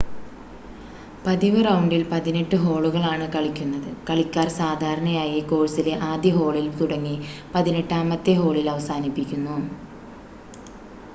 പതിവ് റൗണ്ടിൽ പതിനെട്ട് ഹോളുകളാണ് കളിക്കുന്നത് കളിക്കാർ സാധാരണയായി കോഴ്‌സിലെ ആദ്യ ഹോളിൽ തുടങ്ങി പതിനെട്ടാമത്തെ ഹോളിൽ അവസാനിപ്പിക്കുന്നു